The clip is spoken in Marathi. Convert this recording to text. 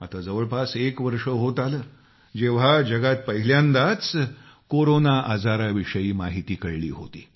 आता जवळपास एक वर्ष होत आले जेव्हा जगात पहिल्यांदाच कोरोनाचा आजाराविषयी माहिती कळली होती